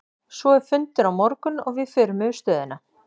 Svo er fundur á morgun og við förum yfir stöðuna.